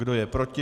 Kdo je proti?